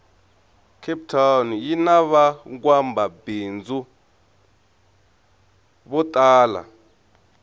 cape town yinavangwamabhindzu votala